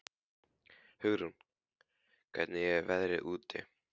Hugrún, hvernig er veðrið úti?